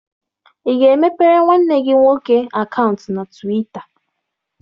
Ị ga-emepere nwanne gị nwoke akaụntụ na Twịta?